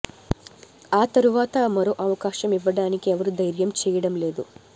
ఆ తరువాత మరో అవకాశం ఇవ్వడానికి ఎవరు దైర్యం చేయడం లేదు